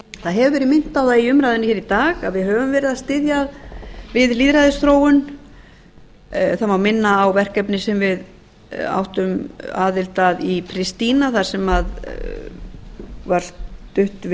það hefur verið minnt á það í umræðunni í dag að við höfum verið að styðja við lýðræðisþróun á má minna á verkefni sem við áttum aðild að í christina